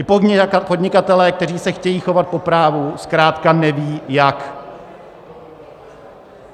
I podnikatelé, kteří se chtějí chovat po právu, zkrátka neví, jak.